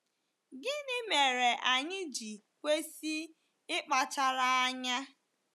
Gịnị mere anyị ji kwesị ịkpachara anya?